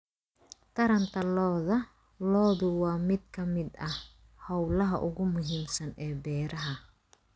Taranta lo'da lo'du waa mid ka mid ah hawlaha ugu muhiimsan ee beeraha.